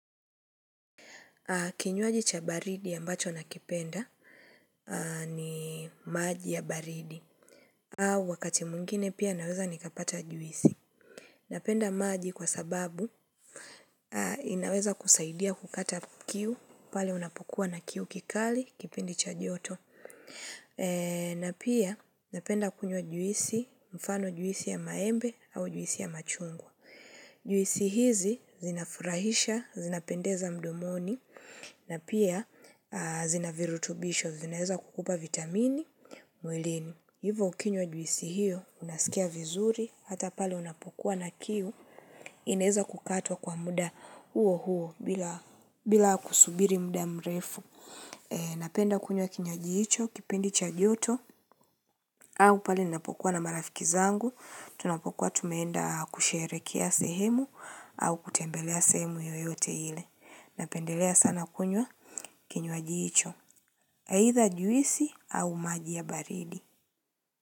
Kinywaji cha baridi ambacho nakipenda ni maji ya baridi. Au wakati mwingine pia naweza nikapata juisi. Napenda maji kwa sababu inaweza kusaidia kukata kiu pale unapokuwa na kiu kikali kipendi cha joto. Na pia napenda kunywa juisi mfano juisi ya maembe au juisi ya machungwa. Juisi hizi zinafurahisha, zinapendeza mdomoni, na pia zinavirutubisho, zinaeza kukupa vitamini, mwilini Hivo ukinywa juisi hiyo, unasikia vizuri, hata pale unapokuwa na kiu, inaeza kukatwa kwa muda huo huo bila kusubiri muda mrefu Napenda kunywa kinywaaji hicho, kipindi cha joto au pali napokuwa na marafiki zangu Tunapokuwa tumeenda kusherekea sehemu au kutembelea sehemu yoyote ile Napendelea sana kunywa kinyoajiicho Haidha juisi au maji ya barili.